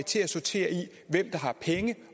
til at sortere i hvem der har penge